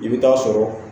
I bɛ taa sɔrɔ